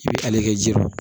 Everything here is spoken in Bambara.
I bɛ ale kɛ ji dɔ